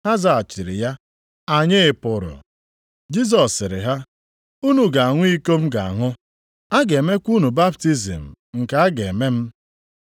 Ha zaghachiri ya, “Anyị pụrụ.” Jisọs sịrị ha, “Unu ga-aṅụ iko m ga-aṅụ, a ga-emekwa unu baptizim nke a ga-eme m.